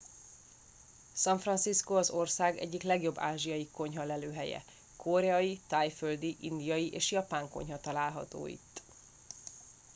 san francisco az ország egyik legjobb ázsiai konyha lelőhelye koreai tájföldi indiai és japán konyha található itt